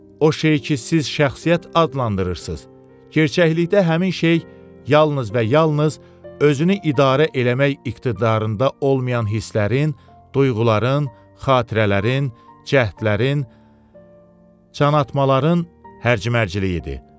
O şey ki siz şəxsiyyət adlandırırsız, gerçəklikdə həmin şey yalnız və yalnız özünü idarə eləmək iqtidarında olmayan hisslərin, duyğuların, xatirələrin, cəhdlərin, can atmaların hərcmərcliyidir.